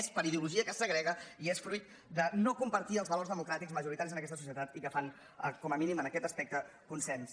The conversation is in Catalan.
és per ideologia que es segrega i és fruit de no compartir els valors democràtics majoritaris en aquesta societat i que fan com a mínim en aquest aspecte consens